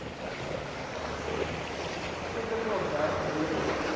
stedelike ontwerp gedurende